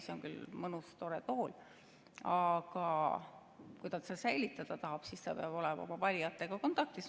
See on küll mõnus tore tool, aga kui ta seda säilitada tahab, siis ta peab olema oma valijatega kontaktis.